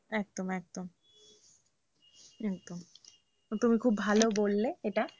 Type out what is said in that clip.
একদম একদম একদম তুমি খুব ভালো বললে এটা